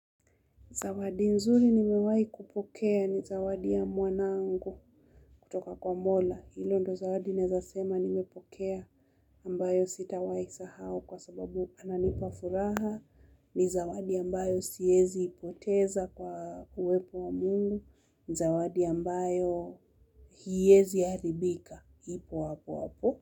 Zawadi nzuri nimewai kupokea ni zawadi ya mwanangu kutoka kwa mola. Hilo ndo zawadi naeza sema nimepokea ambayo sitawai sahau kwa sababu ananipa furaha. Ni zawadi ambayo siezi ipoteza kwa uwepo wa Mungu. Ni zawadi ambayo hiezi haribika ipo wapo wapo.